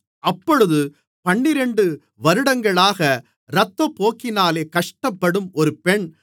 அப்பொழுது பன்னிரண்டு வருடங்களாக இரத்தப்போக்கினாலே கஷ்டப்படும் ஒரு பெண்